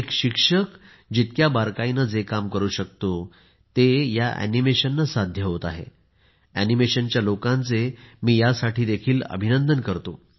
एक शिक्षक जितक्या बारकाईने जे काम करू शकतो ते अॅनिमेशनने साध्य होत आहे अॅनिमेशनच्या लोकांचे मी यासाठी देखील अभिनंदन करतो